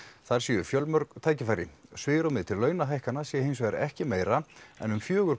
þar séu fjölmörg tækifæri svigrúmið til launahækkana sé hinsvegar ekki meira en um fjögur